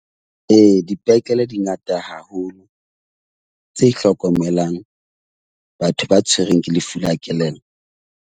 Ee, dipetlele di ngata haholo tse hlokomelang batho ba tshwerweng ke lefu la kelello.